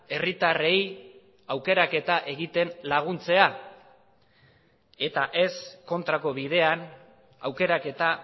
herritarrei aukeraketa egiten laguntzea eta ez kontrako bidean aukeraketa